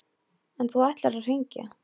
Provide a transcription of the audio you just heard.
En þú ætlar að hringja.